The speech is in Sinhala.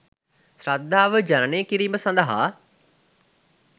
ශ්‍රද්ධාව ජනනය කිරීම සදහා